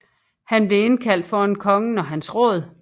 Han blev indkaldt foran kongen og hans råd